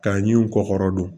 K'a ɲin u kɔ kɔrɔ don